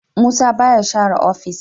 Musa baya share ofis.